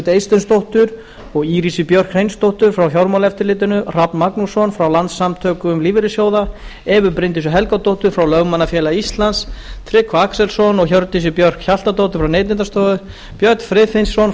eysteinsdóttur og írisi björk hreinsdóttur frá fjármálaeftirlitinu hrafn magnússon frá landssamtökum lífeyrissjóða evu bryndísi helgadóttur frá lögmannafélagi íslands tryggva axelsson og hjördísi björk hjaltadóttur frá neytendastofu björn friðfinnsson